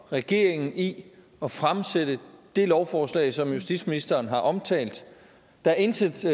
regeringen i at fremsætte det lovforslag som justitsministeren har omtalt der er intet til